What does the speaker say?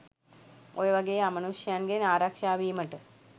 ඔය වගෙ අමනුෂ්‍යයන්ගෙන් ආරක්ෂා වීමට